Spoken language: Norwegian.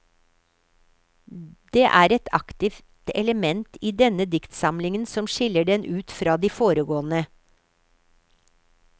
Det er et aktivt element i denne diktsamlingen som skiller den ut fra de foregående.